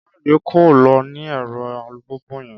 Káyọ̀dé kọ́ ló ní ẹ̀rọ alùpùpù yẹn